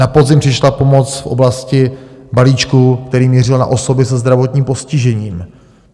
Na podzim přišla pomoc v oblasti balíčku, který mířil na osoby se zdravotním postižením.